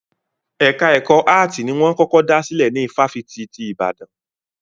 Ẹka ẹ̀kọ́ áàtì ni wọ́n kọ́kọ́ dá sílè ní ifáfitì ti Ìbàdàn.